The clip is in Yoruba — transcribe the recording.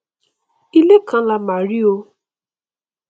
ilé kan lá mà rí o